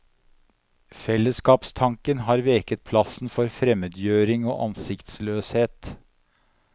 Fellesskapstanken har veket plassen for fremmedgjøring og ansiktsløshet.